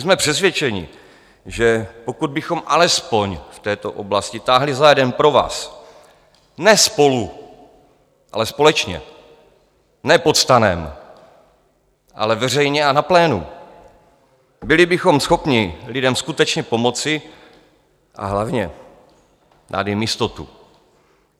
Jsme přesvědčeni, že pokud bychom alespoň v této oblasti táhli za jeden provaz, ne spolu, ale společně, ne pod stanem, ale veřejně a na plénu, byli bychom schopni lidem skutečně pomoci a hlavně dát jim jistotu.